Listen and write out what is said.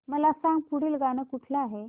मला सांग पुढील गाणं कुठलं आहे